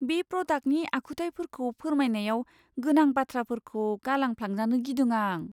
बे प्रडाक्टनि आखुथायफोरखौ फोरमायनायाव गोनां बाथ्राफोरखौ गालांफ्लांजानो गिदों आं।